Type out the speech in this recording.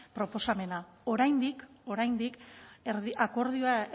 proposamena oraindik oraindik akordioa